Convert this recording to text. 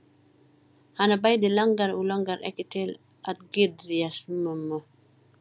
Hana bæði langar og langar ekki til að geðjast mömmu.